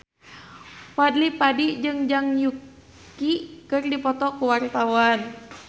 Fadly Padi jeung Zhang Yuqi keur dipoto ku wartawan